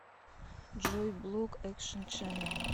джой блок экшен ченнэл